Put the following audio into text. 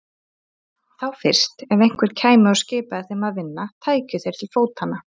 Þá fyrst, ef einhver kæmi og skipaði þeim að vinna, tækju þeir til fótanna.